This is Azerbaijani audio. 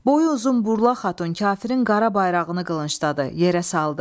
Boyu uzun burlaq xatun kafirin qara bayrağını qılıncladı, yerə saldı.